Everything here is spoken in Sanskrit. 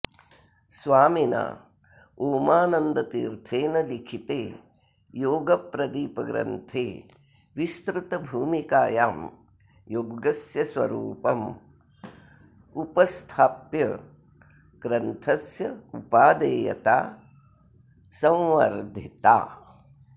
स्वामिना ओमानन्दतीर्थेन लिखिते योगप्रदीपग्रन्थे विस्तृतभूमिकायां योगस्य स्वरूपम् उपस्थाप्य ग्रन्थस्य उपादेयता संवर्धिता